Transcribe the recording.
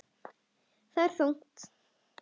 Það er þungt.